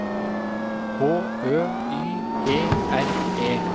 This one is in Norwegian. H Ø Y E R E